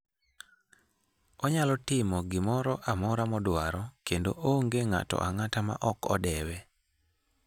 Onyalo timo gimoro amora modwaro, kendo onge ng'ato ang'ata ma ok odewe".